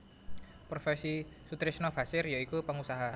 Profesi Soetrisno Bachir ya iku pengusaha